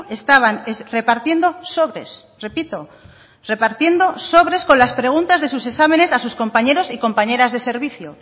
estaban repartiendo sobres repito repartiendo sobres con las preguntas de sus exámenes a sus compañeros y compañeras de servicio